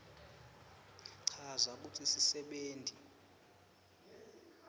chaza kutsi sisebenti